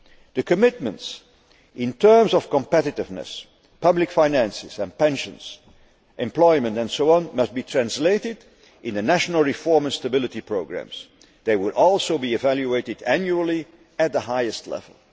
The commitments in terms of competitiveness, public finances and pensions, employment and so on must be translated into the national reform and stability programmes. They will also be evaluated annually at the highest level.